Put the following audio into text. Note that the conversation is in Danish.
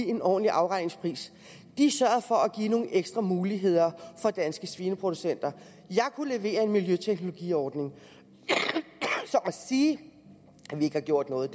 en ordentlig afregning de sørgede for at give nogle ekstra muligheder for danske svineproducenter jeg kunne levere en miljøteknologiordning så at sige at vi ikke har gjort noget